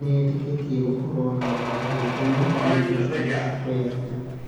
Nĩetĩkĩtie gũkorwo na ũndũ wa gwĩkenia nĩ njĩra njega ya kwĩyaria.